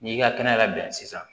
N'i ka kɛnɛ labɛn sisan